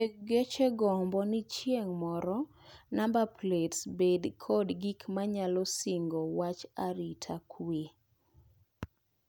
Weg geche gombo ni chieng moro namba plets bed kod gik manyalo singo wach aita kwee.